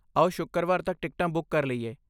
ਆਓ ਸ਼ੁੱਕਰਵਾਰ ਤੱਕ ਟਿਕਟਾਂ ਬੁੱਕ ਕਰ ਲਈਏ।